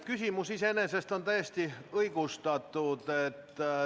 Küsimus on iseenesest täiesti õigustatud.